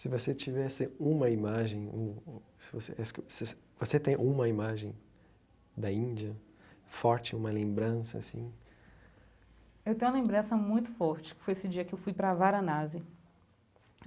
Se você tivesse uma imagem um um... Você tem uma imagem da Índia forte, uma lembrança, assim... Eu tenho uma lembrança muito forte, que foi esse dia que eu fui para a Varanasi.